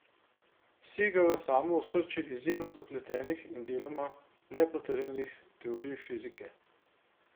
Sega v samo osrčje izjemno zapletenih in deloma nepotrjenih teorij fizike.